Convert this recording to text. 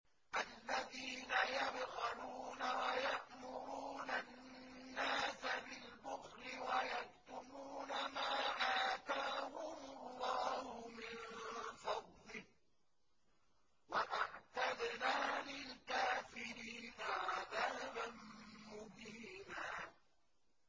الَّذِينَ يَبْخَلُونَ وَيَأْمُرُونَ النَّاسَ بِالْبُخْلِ وَيَكْتُمُونَ مَا آتَاهُمُ اللَّهُ مِن فَضْلِهِ ۗ وَأَعْتَدْنَا لِلْكَافِرِينَ عَذَابًا مُّهِينًا